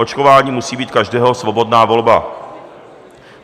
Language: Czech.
Očkování musí být každého svobodná volba.